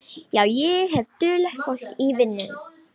Já, ég hef duglegt fólk í vinnu.